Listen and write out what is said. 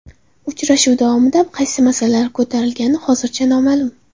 Uchrashuv davomida qaysi masalalar ko‘tarilgani hozircha noma’lum.